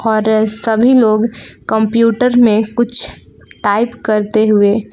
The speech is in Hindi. और सभी लोग कंप्यूटर में कुछ टाइप करते हुए--